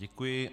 Děkuji.